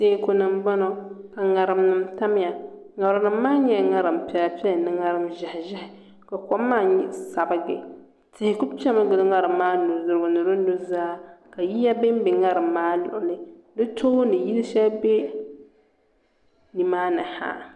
Teeku ni n boŋo ka ŋarima tamya ŋarima maa nyɛla zaɣ piɛla piɛla ni ŋarim ʒiɛhi ʒiɛhi ka kom maa nin sabigi tihi ku piɛmi gili ŋarim maa nudirigu ni di nuzaa ka yiya bɛnbɛ ŋarim maa luɣuli di tooni yili shɛli bɛ nimaani ha